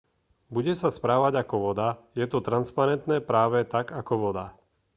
bude sa správať ako voda je to transparentné práve tak ako voda